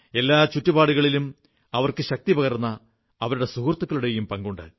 എല്ലാ ചുറ്റുപാടുകളിലും അവർക്ക് ശക്തിപകർന്ന അവരുടെ സുഹൃത്തുക്കളുടെയും പങ്കുണ്ട്